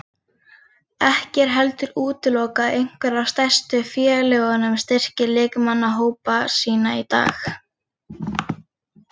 Ekki er heldur útilokað að einhver af stærstu félögunum styrki leikmannahópa sína í dag.